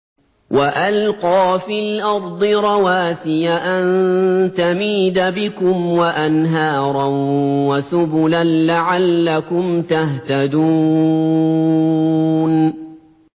وَأَلْقَىٰ فِي الْأَرْضِ رَوَاسِيَ أَن تَمِيدَ بِكُمْ وَأَنْهَارًا وَسُبُلًا لَّعَلَّكُمْ تَهْتَدُونَ